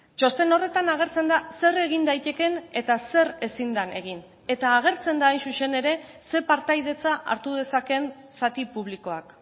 txosten horretan agertzen da zer egin daitekeen eta zer ezin den egin eta agertzen da hain zuzen ere ze partaidetza hartu dezakeen zati publikoak